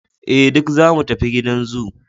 eh duk zamu tafi gidan zoo